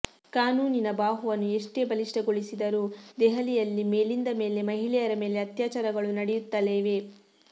ಕಾನೂನಿನ ಬಾಹುವನ್ನು ಎಷ್ಟೇ ಬಲಿಷ್ಠಗೊಳಿಸಿದರೂ ದೆಹಲಿಯಲ್ಲಿ ಮೇಲಿಂದ ಮೇಲೆ ಮಹಿಳೆಯರ ಮೇಲೆ ಅತ್ಯಾಚಾರಗಳು ನಡೆಯುತ್ತಲೇ ಇವೆ